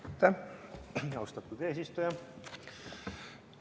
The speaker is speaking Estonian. Aitäh, austatud eesistuja!